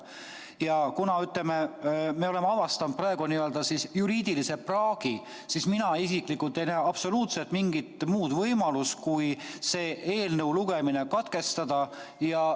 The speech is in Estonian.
Ja kuna me oleme praegu avastanud juriidilise praagi, siis mina isiklikult ei näe absoluutselt mingit muud võimalust kui selle eelnõu lugemine katkestada.